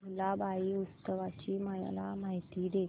भुलाबाई उत्सवाची मला माहिती दे